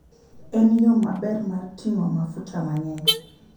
En yo maber mar ting'o mafuta mang'eny.